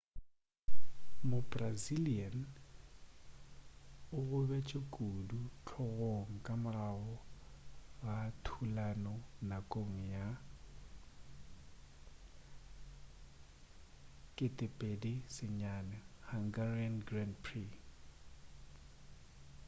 mo-brazilian o gobetše kudu hlogong ka morago ga thulano nakong ya 2009 hungarian grand prix